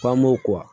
Panmo